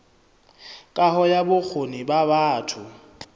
kaho ya bokgoni ba batho